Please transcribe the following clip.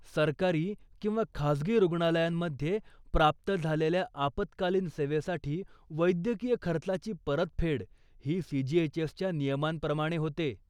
सरकारी किंवा खाजगी रुग्णालयांमध्ये प्राप्त झालेल्या आपत्कालीन सेवेसाठी वैद्यकीय खर्चाची परतफेड ही सीजीएचएसच्या नियमांप्रमाणे होते.